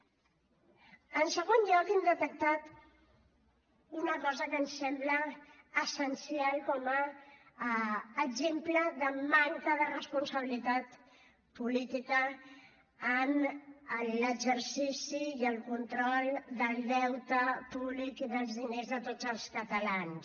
en segon lloc hem detectat una cosa que ens sembla essencial com a exemple de manca de responsabilitat política en l’exercici i el control del deute públic i dels diners de tots els catalans